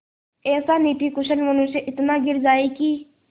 ऐसा नीतिकुशल मनुष्य इतना गिर जाए कि